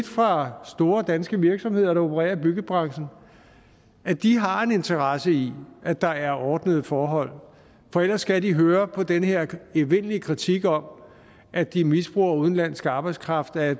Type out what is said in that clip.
fra store danske virksomheder der opererer i byggebranchen at de har en interesse i at der er ordnede forhold for ellers skal de høre på den her evindelige kritik om at de misbruger udenlandsk arbejdskraft at